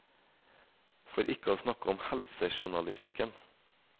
For ikke å snakke om i helsejournalistikken.